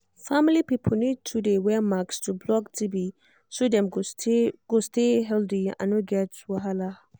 family people need to dey wear mask to block tb so dem go stay go stay healthy and no get wahala